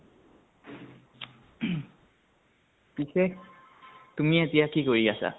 পিছে, তুমি এতিয়া কি কৰি আছা ?